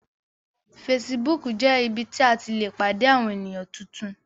Facebook jé ibí tí a tí lẹ pàdé Àwọ̀n ènìyàn títún